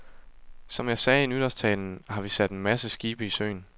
Som jeg sagde i nytårstalen, har vi sat en masse skibe i søen.